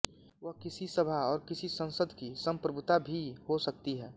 वह किसी सभा और किसी संसद की सम्प्रभुता भी हो सकती है